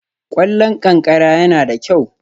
Ƙwallon ƙanƙara yana da kyau